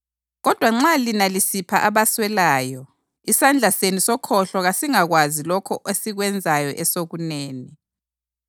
Kodwa nxa lina lisipha abaswelayo isandla senu sokhohlo kasingakwazi lokho esikwenzayo esokunene,